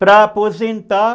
Para aposentar...